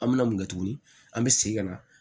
An bɛ na mun kɛ tuguni an bɛ segin ka na